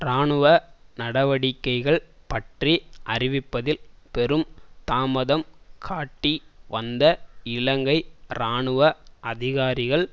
இராணுவ நடவடிக்கைகள் பற்றி அறிவிப்பதில் பெரும் தாமதம் காட்டி வந்த இலங்கை இராணுவ அதிகாரிகள்